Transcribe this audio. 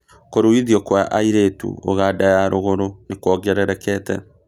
Kũruithio Kwa airĩtu ũganda ya rũgũrũ nĩwongererekete